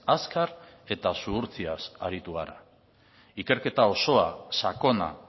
azkar eta zuhurtziaz aritu gara ikerketa osoa sakona